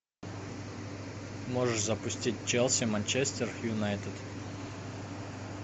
можешь запустить челси манчестер юнайтед